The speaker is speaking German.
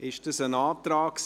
Ist das ein Antrag?